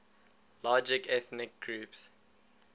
largest ethnic groups